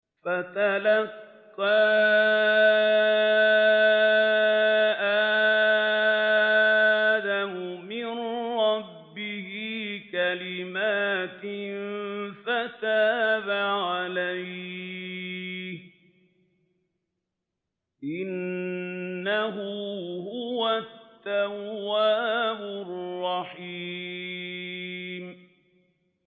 فَتَلَقَّىٰ آدَمُ مِن رَّبِّهِ كَلِمَاتٍ فَتَابَ عَلَيْهِ ۚ إِنَّهُ هُوَ التَّوَّابُ الرَّحِيمُ